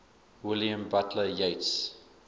william butler yeats